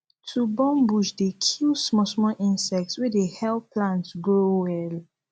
to burn bush dey kill small small insect wey dey help plants grow well